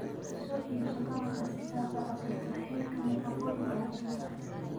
Soo iibso qalabka si aad u cabbirto heerka nafaqooyinka ukunta.